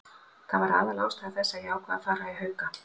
Það var aðalástæða þess að ég ákvað að fara í Hauka.